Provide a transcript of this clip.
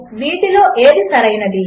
● వీటిలో ఏది సరైనది